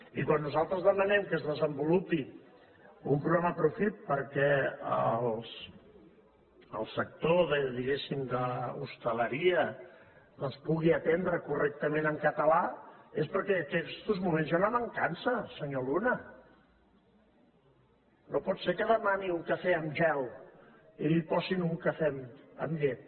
i quan nosaltres demanem que es desenvolupi un programa profit perquè el sector diguéssim d’hostaleria doncs pugui atendre correctament en català és perquè en aquests moments hi ha una mancança senyor luna no pot ser que demani un cafè amb gel i li posin un cafè amb llet